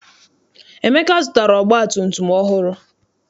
Emeka zụtara ọgbatumtum ọhụrụ.